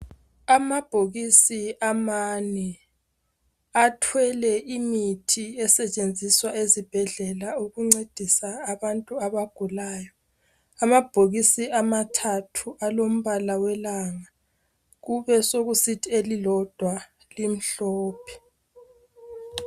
Amabhokosi amane athwele imithi esetshenziswa esibhedlela okungcedisa abantu abagulayo amabhokosi amathathu alombala welanga kube sekusithi elilodwa limhlophe